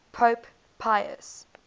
pope pius